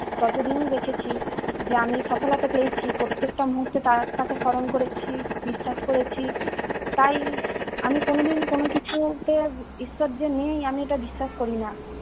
ততদিনই দেখেছি যে আমি সফলতা পেয়েছি প্রত্যেকটা মুহূর্তে তার তাকে স্মরণ করেছি, বিশ্বাস করেছি। তাই আমি কোনদিন কোন কিছুতে ঈশ্বর যে নেই আমি এটা বিশ্বাস করি না।